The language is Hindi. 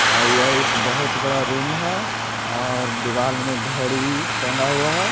और यह एक बहुत बड़ा रूम है और दीवार में घड़ी टंगा हुआ है‌।